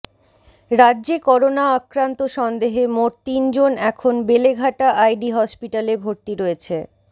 রাজ্যে করোনা আক্রান্ত সন্দেহে মোট তিনজন এখন বেলেঘাটা আইডি হসপিটালে ভর্তি রয়েছে